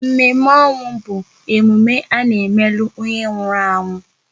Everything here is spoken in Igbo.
Mme ọnwụ bụ emume a n'emelu onye nwụrụ anwụ